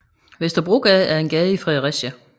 Vesterbrogade er en gade i Fredericia